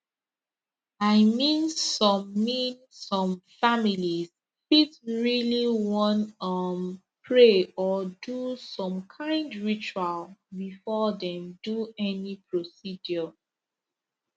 i mean some mean some families fit really wan um pray or do some kind ritual before dem do any procedure